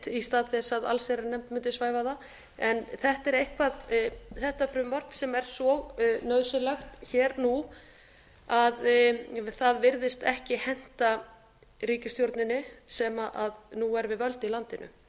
í stað þess að allsherjarnefnd mundi svæfa það þetta er eitthvað þetta frumvarp sem er svo nauðsynlegt hér nú að það virðist ekki henta ríkisstjórninni sem nú er við völd í landinu